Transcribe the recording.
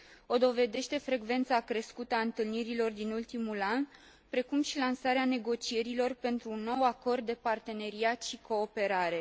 O dovedește frecvența crescută a întâlnirilor din ultimul an, precum și lansarea negocierilor pentru un nou acord de parteneriat și cooperare.